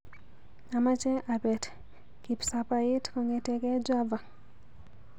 Amache abet kipsabait kong'eteke Java.